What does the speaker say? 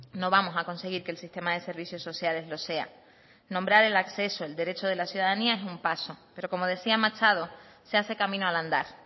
no vamos a conseguir que el sistema de servicios sociales lo sea nombrar el acceso el derecho de la ciudadanía es un paso pero como decía machado se hace camino al andar